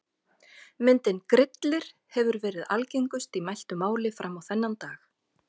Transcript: Myndin Grillir hefur verið algengust í mæltu máli fram á þennan dag.